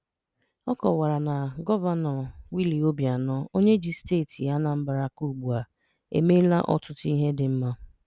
Ọ kọwara na Gọvanọ Willie Obianọ, onye ji Steeti Anambra aka ugbu a, emeela ọtụtụ ihe dị mma.